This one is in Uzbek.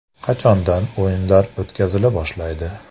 Qachondan o‘yinlar o‘tkazila boshlaydi?